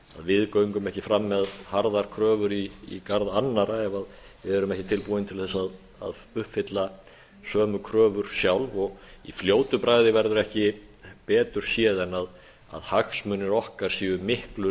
við göngum ekki fram með harðar kröfur í garð annarra ef við erum ekki tilbúin til þess að uppfylla sömu kröfur sjálf og í fljótu bragði verður ekki betur séð en hagsmunir okkar séu miklu